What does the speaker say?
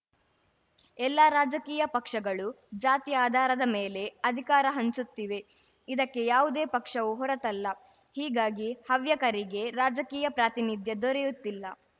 ಎಲ್ಲಾ ರಾಜಕೀಯ ಪಕ್ಷಗಳೂ ಜಾತಿ ಆಧಾರದ ಮೇಲೆ ಅಧಿಕಾರ ಹಂಚುತ್ತಿವೆ ಇದಕ್ಕೆ ಯಾವುದೇ ಪಕ್ಷವೂ ಹೊರತಲ್ಲ ಹೀಗಾಗಿ ಹವ್ಯಕರಿಗೆ ರಾಜಕೀಯ ಪ್ರಾತಿನಿಧ್ಯ ದೊರೆಯುತ್ತಿಲ್ಲ